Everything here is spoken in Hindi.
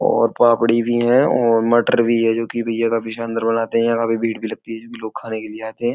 और पापड़ी भी है और मटर भी है। जो कि अंदर बनाते हैं। काफी भीड़ भी लगती है जो भी लोग खाने के लिए आते हैं।